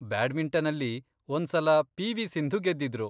ಬ್ಯಾಡ್ಮಿಂಟನಲ್ಲಿ, ಒಂದ್ಸಲ ಪಿ.ವಿ. ಸಿಂಧು ಗೆದ್ದಿದ್ರು.